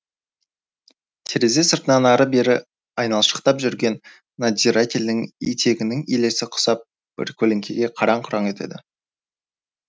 терезе сыртынан ары бері айналшықтап жүрген надзирательдің етігінің елесі құсап бір көлеңке қараң құраң етеді